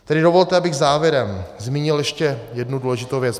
Tedy dovolte, abych závěrem zmínil ještě jednu důležitou věc.